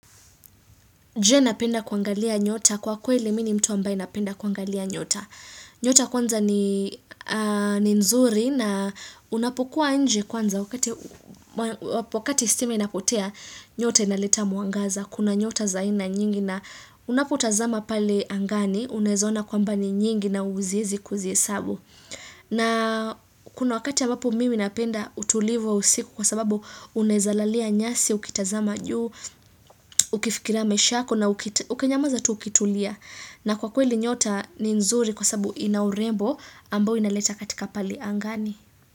Je napenda kuangalia nyota kwa kweli mimi ni mtu ambaye ninapenda kuangalia nyota. Nyota kwanza ni nzuri na unapokua nje kwanza wakati stima inapotea nyota inaleta mwangaza. Kuna nyota za aina nyingi na unapotazama pale angani, unaweza ona kwamba ni nyingi na huwezi kuzihesabu. Na kuna wakati ambapo mimi napenda utulivu wa usiku kwa sababu unawezalalia nyasi, ukitazama juu, ukifikira maisha yako na ukinyamaza tu ukitulia. Na kwa kweli nyota ni nzuri kwa sababu ina urembo ambao inaleta katika pale angani.